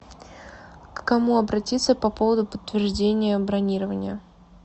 к кому обратиться по поводу подтверждения бронирования